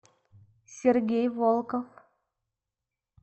сергей волков